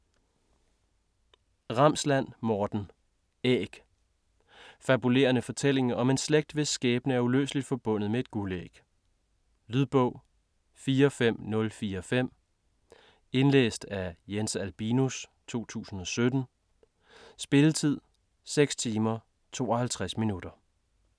Ramsland, Morten: Æg Fabulerende fortælling om en slægt hvis skæbne er uløseligt forbundet med et guldæg. Lydbog 45045 Indlæst af Jens Albinus, 2017. Spilletid: 6 timer, 52 minutter.